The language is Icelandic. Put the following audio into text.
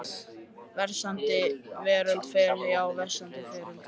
Versnandi veröldin fer, já versnandi veröldin fer.